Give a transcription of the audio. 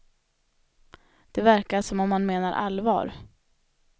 Det verkar som om han menar allvar.